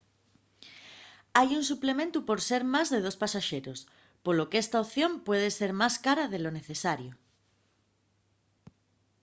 hai un suplementu por ser más de dos pasaxeros polo qu’esta opción puede ser más cara de lo necesario